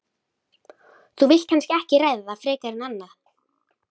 Þú vilt kannski ekki ræða það frekar en annað?